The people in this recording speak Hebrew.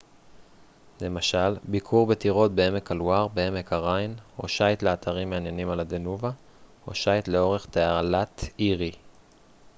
למשל ביקור בטירות בעמק הלואר בעמק הריין או שיט לאתרים מעניינים על הדנובה או שיט לאורך תעלת אירי